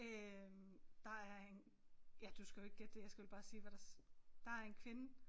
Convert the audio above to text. Øh der er en ja du skal jo ikke gætte det jeg skal vel bare sige hvad der der er en kvinde